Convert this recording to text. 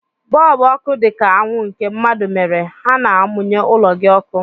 Bọlbụ ọkụ dị ka anwụ nke mmadụ mere, ha na-amụnye ụlọ gị ọkụ.